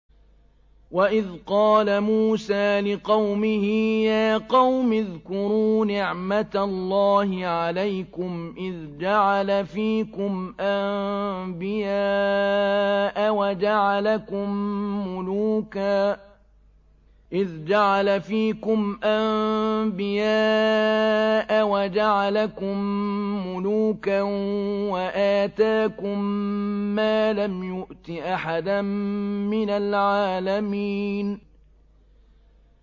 وَإِذْ قَالَ مُوسَىٰ لِقَوْمِهِ يَا قَوْمِ اذْكُرُوا نِعْمَةَ اللَّهِ عَلَيْكُمْ إِذْ جَعَلَ فِيكُمْ أَنبِيَاءَ وَجَعَلَكُم مُّلُوكًا وَآتَاكُم مَّا لَمْ يُؤْتِ أَحَدًا مِّنَ الْعَالَمِينَ